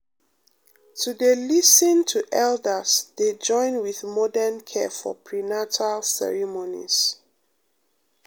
to dey lis ten to elders dey join with modern care for prenatal ceremonies um